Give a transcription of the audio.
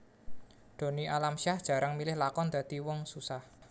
Donny Alamsyah jarang milih lakon dadi wong susah